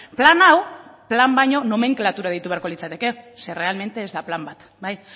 plan hau plan baino nomenklatura deitu beharko litzateke ze realmente ez da plan bat